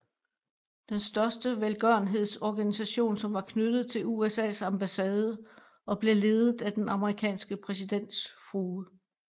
Den største velgørenhedsorganisation som var knyttet til USAs ambassade og blev ledt af den amerikanske præsidents frue